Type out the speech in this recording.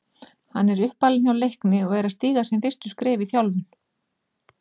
Hann er uppalinn hjá Leikni og er að stíga sín fyrstu skref í þjálfun.